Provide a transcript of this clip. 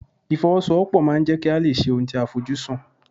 Ìfọwọ́sowọ́pọ̀ máà ń jẹ́ kí a lè ṣe ohun tí a fojú sùn.